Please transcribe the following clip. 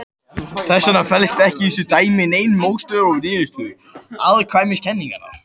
Þess vegna felst ekki í þessu dæmi nein mótsögn við niðurstöður afstæðiskenningarinnar.